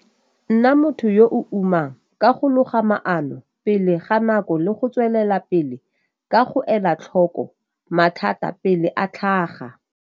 Nna motho yo o umang ka go loga maano pele ga nako le go tswelela pele ka go ela tlhoko mathata pele a tlhaga.